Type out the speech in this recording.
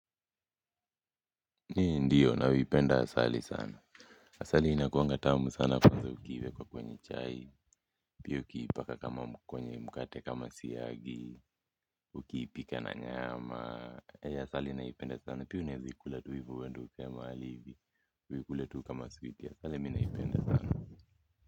Ndio napenda asali sana asali inakuangatamu sana kwanza ukiwekwa kwenye chai piya ukiipaka kama kwenye mkate kama siyagi ukiipika na nyama. Asali naipenda sana pia unaeza ikula tu hivo uende ukae mahali hivi uikule tu kama switi asali mimi naipenda sana.